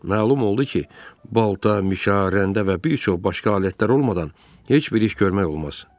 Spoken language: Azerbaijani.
Məlum oldu ki, balta, mişa, rəndə və bir çox başqa alətlər olmadan heç bir iş görmək olmaz.